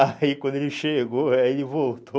Aí quando ele chegou, aí voltou.